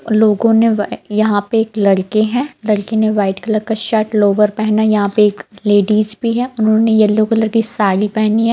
लोगो ने यहां पे यहां पे लड़के है लड़के ने व्हाइट कलर का शर्ट लोअर पहना हैऔर यहां पे एक लेडिस भी है उन्होंने येलो कलर की साड़ी पहनी है।